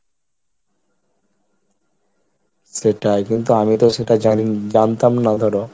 সেটাই কিন্তু আমি তো সেটা জানি~জানতাম না ধরো।